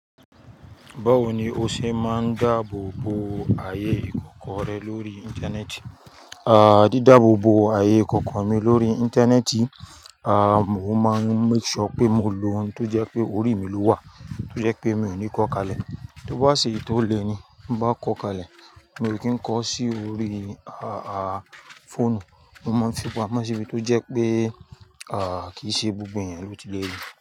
Báwo ni o ṣe máa ń dáàbò bo ààyè ìkọ̀kọ̀ rẹ lórí Íńtánẹ́ẹ̀tì? Àdí dáàbò bo ààyè ìkọ̀kọ̀ mi lórí Íńtánẹ́ẹ̀tì, àmò ma ń make sure pé mò ń lo ohun tó jẹ́ pé orí mi ló wà, tó jẹ́ pé mi ò ní kọ́ kalẹ̀. Tó bá sì tó le ní, bá kọ kalẹ̀, mi ò kí ń kọ sí orí á à fọ́ònù, mo máa ń fi ipò ámọ́ síbi tó jẹ́ pé à kí ì ṣe gbogbo ẹ̀yàn ló ti lè rí i.